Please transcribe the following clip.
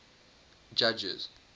judges